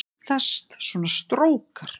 Þá myndast svona strókar